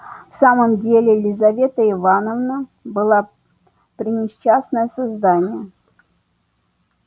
в самом деле лизавета ивановна была пренесчастное создание